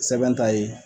Sɛbɛn t'a ye